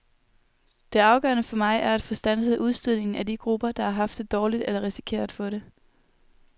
Det afgørende for mig er at få standset udstødningen af de grupper, der har haft det dårligt eller risikerer at få det.